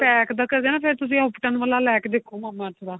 pack ਦਾ ਕਰਦੇ ਓ ਨਾ ਫੇਰ ਤੁਸੀਂ Ubtan ਵਾਲਾ ਲੈ ਕੇ ਦੇਖੋ mama earth ਦਾ